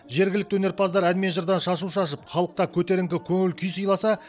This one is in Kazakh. жергілікті өнерпаздар ән мен жырдан шашу шашып халыққа көтеріңкі көңіл күй сыйласа